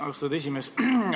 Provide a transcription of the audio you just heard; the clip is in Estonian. Austatud esimees!